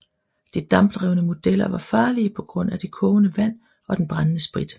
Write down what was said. De dampdrevne modeller var farlige på grund af de kogende vand og den brændende sprit